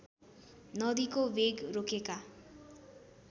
नदीको वेग रोकेका